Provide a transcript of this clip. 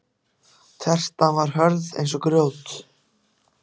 Tertan var hörð eins og grjót.